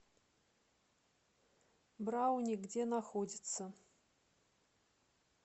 брауни где находится